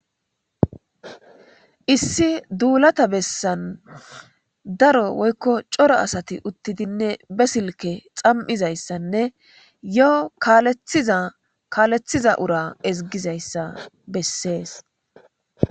issi duulata bessan daro woykko cora asati uttidinne be silke xam7izayssanne yoho kalethiza ura eziggizayssa bessees